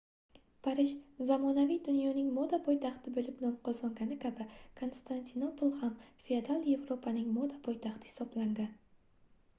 parij zamonaviy dunyoning moda poytaxti boʻlib no qozongani kabi konstantinopol ham feodal yevropaning moda poytaxti hisoblangan